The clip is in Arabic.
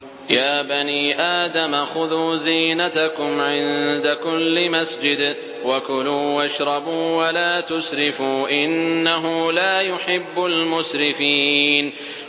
۞ يَا بَنِي آدَمَ خُذُوا زِينَتَكُمْ عِندَ كُلِّ مَسْجِدٍ وَكُلُوا وَاشْرَبُوا وَلَا تُسْرِفُوا ۚ إِنَّهُ لَا يُحِبُّ الْمُسْرِفِينَ